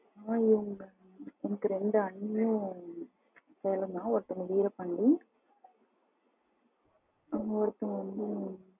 ஆ இவங்க எனக்கு ரெண்டு அண்ணா சேலம் தான் ஒருத்தங்க வீரபாண்டி ம் ஒருத்தவங்க வந்து